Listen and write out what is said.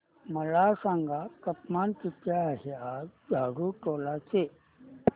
मला सांगा तापमान किती आहे आज झाडुटोला चे